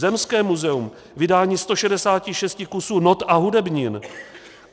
Zemské muzeum - vydání 166 kusů not a hudebnin.